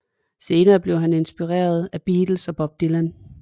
Senere blev han inspireret af the Beatles og Bob Dylan